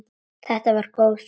Þetta var góð súpa.